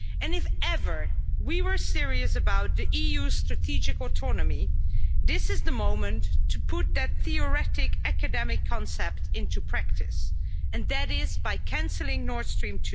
If ever we were serious about the EU's strategic autonomy, this is the moment to put that theoretical academic concept into practice, and to do so by cancelling Nord Stream